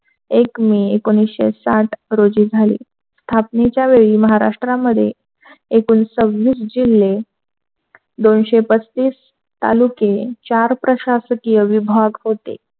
एक मे एकोणीसशे साठ रोजी झाली. स्थापनेच्या वेळी महाराष्ट्र मध्ये एकूण सव्विस जिल्हे दोनशे पस्तीस तालुके चार प्रशासकीय विभाग होते.